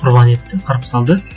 құрбан етті қырып салды